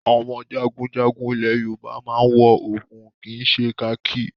Àwọn jagunjagun ilẹ̀ Yorùbá máa ń wọ òògùn kì í ṣe kakí.